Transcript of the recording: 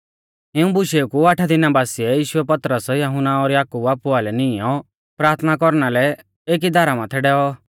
इऊं बुशेऊ कु आठा दिना बासिऐ यीशुऐ पतरस यहुन्ना और याकूब आपु आइलै निंएउ प्राथना कौरना लै एकी धारा माथै डैऔ